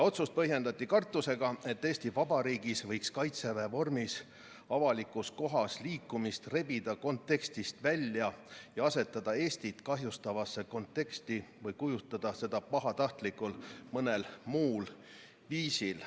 Otsust põhjendati kartusega, et Eesti Vabariigis võidakse Kaitseväe vormis avalikus kohas liikumine rebida kontekstist välja ja asetada Eestit kahjustavasse konteksti või kujutada seda pahatahtlikult mõnel muul viisil.